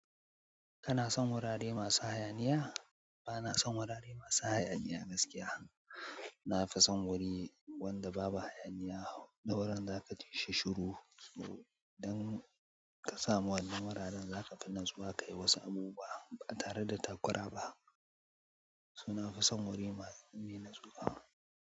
Kana son wurare masu hayaniya? Bana son wurare masu hayaniya gaskiya. Na fi son wuri wanda babu hayaniya. Da wurin za ka tashi shiru idan ka samu wannan wurin, zaka fi nan zuwa ka yi wasu abu ba tare da takura ba. Su nafi son wurin mai nuna nutsuwa.